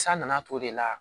San nana t'o de la